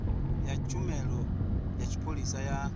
ya tshumelo ya tshipholisa ya